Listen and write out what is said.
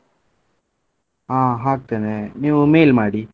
ಹಾ ಹಾಕ್ತೇನೆ ನೀವ್ mail ಮಾಡಿ.